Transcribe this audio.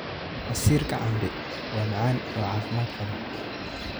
Casiirka cambe waa macaan oo caafimaad qaba.